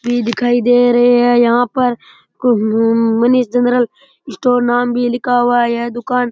ये दिखाई दे रहे है यहाँ पर हम्म मनीष जनरल स्टोर नाम भी लिखा हुआ है यह दुकान --